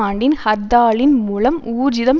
ஆண்டின் ஹர்த்தாலின் மூலம் ஊர்ஜிதம்